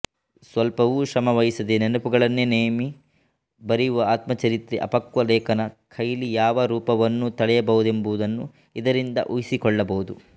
ಸ್ವಲ್ಪವೂ ಶ್ರಮವಹಿಸದೆ ನೆನಪುಗಳನ್ನೆ ನೆಮ್ಮಿ ಬರೆಯುವ ಆತ್ಮಚರಿತ್ರೆ ಅಪಕ್ವ ಲೇಖಕನ ಕೈಲಿ ಯಾವ ರೂಪವನ್ನೂ ತಳೆಯಬಹುದೆಂಬುದನ್ನು ಇದರಿಂದ ಊಹಿಸಿಕೊಳ್ಳಬಹುದು